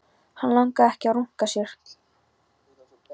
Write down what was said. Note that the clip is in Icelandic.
Hann langaði ekki að runka sér.